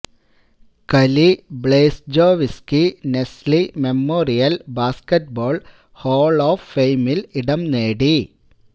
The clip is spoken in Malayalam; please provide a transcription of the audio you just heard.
Kali Blazejowski Naismith memorial basketball hall of ഫെയിമിൽ ഇടം നേടി